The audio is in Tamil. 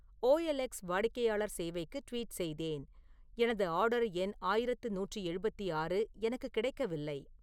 ஓ எல் எக்ஸ் வாடிக்கையாளர் சேவைக்கு ட்வீட் செய்தேன் எனது ஆர்டர் எண் ஆயிரத்து நூற்று எழுபத்தி ஆறு எனக்கு கிடைக்கவில்லை